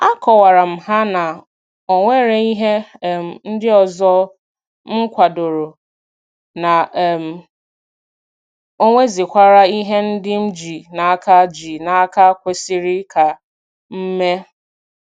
A kọwara m ha na ọ nwere ihe um ndị ọzọ m kwadoro, na um onwezikwara ihe ndị m ji n'aka ji n'aka kwesịrị ka m mee